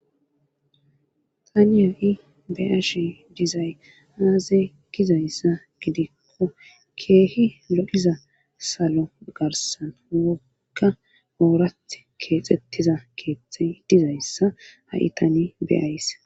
Taniyoi beash dizay aaze gizayssa gidikko keehi lo7iza salo garsan wokka oorath keexettiza keexey dizayssa ha'i tani beyays.